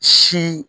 Si